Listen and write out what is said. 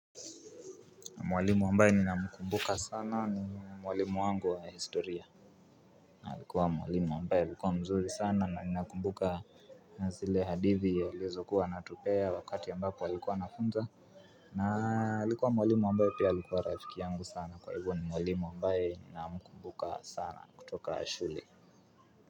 Mwalimu ambaye ninamkumbuka sana ni mwalimu wangu wa historia alikuwa mwalimu ambaye alikuwa mzuri sana na ninakumbuka zile hadithi alizokuwa anatupea wakati ambapo alikuwa anafunza. Na alikuwa mwalimu ambaye pia alikuwa rafiki yangu sana kwa hivyo ni mwalimu ambaye ninamkumbuka sana kutoka shule.